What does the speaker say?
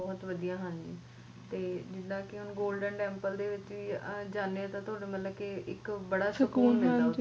ਬਹੁਤ ਵਧੀਆ ਹਾਂਜੀ ਜਿੱਦਾ ਕਿ ਹੁਣ golden temple ਵੀ ਜਾਣੇ ਓ ਮਤਲਭ ਕਿ ਬੜਾ ਸਕੂਨ ਮਿਲਦਾ